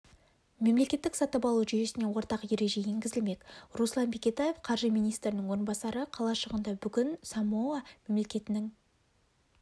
мемлекеттік сатып алу жүйесіне ортақ ереже енгізілмек руслан бекетаев қаржы министрінің орынбасары қалашығында бүгін самоа мемлекетінің